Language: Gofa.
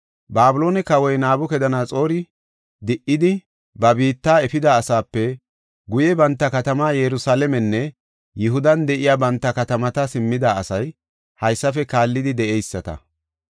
Babiloone kawoy Nabukadanaxoori di7idi, ba biitta efida asape guye banta katamaa Yerusalaamenne Yihudan de7iya banta katamata simmida asay haysafe kaallidi de7eyisata.